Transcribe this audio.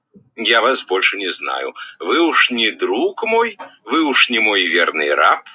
я вас больше не знаю вы уж не друг мой вы уж не мой верный раб